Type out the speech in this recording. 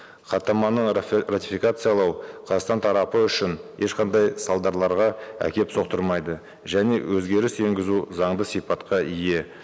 хаттаманы ратификациялау қазақстан тарапы үшін ешқандай әкеліп соқтырмайды және өзгеріс енгізу заңды сипатқа ие